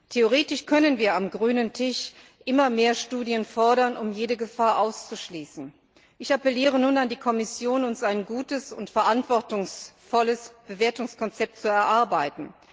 Theoretisch können wir am grünen Tisch immer mehr Studien fordern, um jede Gefahr auszuschließen. Ich appelliere nun an die Kommission, ein gutes und verantwortungsvolles Bewertungskonzept zu erarbeiten.